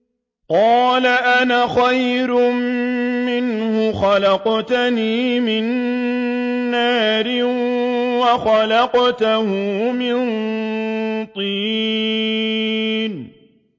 قَالَ أَنَا خَيْرٌ مِّنْهُ ۖ خَلَقْتَنِي مِن نَّارٍ وَخَلَقْتَهُ مِن طِينٍ